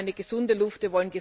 Wir wollen eine gesunde Luft.